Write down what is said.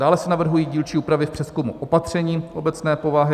Dále se navrhují dílčí úpravy v přezkumu opatření obecné povahy.